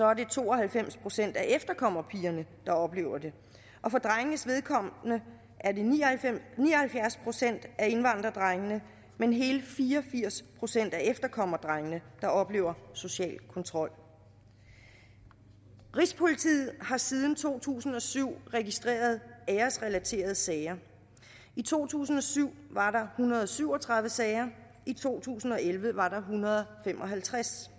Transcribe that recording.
er det to og halvfems procent af efterkommerpigerne der oplever det og for drengenes vedkommende er det ni og halvfjerds procent af indvandrerdrengene men hele fire og firs procent af efterkommerdrengene der oplever social kontrol rigspolitiet har siden to tusind og syv registreret æresrelaterede sager i to tusind og syv var der hundrede og syv og tredive sager i to tusind og elleve var der en hundrede og fem og halvtreds